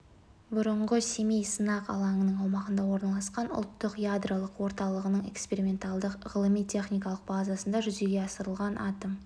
бұрынғы семей сынақ алаңының аумағында орналасқан ұлттық ядролық орталығының эксперименталдық ғылыми-техникалық базасында жүзеге асырылған атом